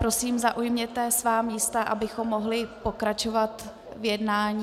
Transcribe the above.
Prosím, zaujměte svá místa, abychom mohli pokračovat v jednání.